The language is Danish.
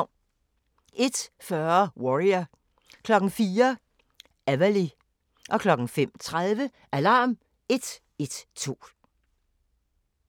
01:40: Warrior 04:00: Everly 05:30: Alarm 112